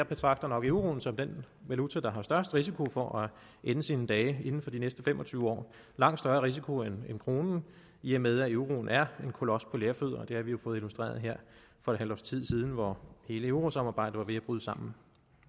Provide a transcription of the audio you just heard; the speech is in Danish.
betragter euroen som den valuta der har størst risiko for at ende sine dage inden for de næste fem og tyve år langt større risiko end kronen i og med at euroen er en kolos på lerfødder det har vi jo fået illustreret her for et halvt års tid siden hvor hele eurosamarbejdet var ved at bryde sammen